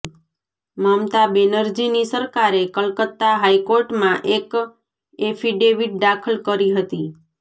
મમતા બેનરજીની સરકારે કલકત્તા હાઈકોર્ટમાં એક એફિડેવિટ દાખલ કરી હતી